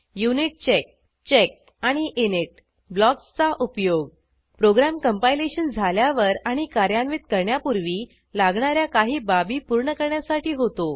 unit check check आणि init ब्लॉक्सचा उपयोग प्रोग्रॅम कंपायलेशन झाल्यावर आणि कार्यान्वित करण्यापूर्वी लागणा या काही बाबी पूर्ण करण्यासाठी होतो